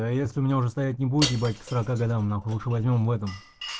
а если у меня уже стоять не будет ебать к сорока годам нахуй лучше возьмём в этом